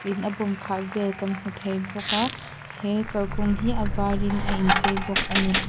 in a bawm khah vel kan hmu thei bawk a he kalkawng hi a varin a inchei bawk a ni.